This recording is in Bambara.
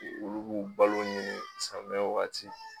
Olu b'u balo ɲini sanmiya waati.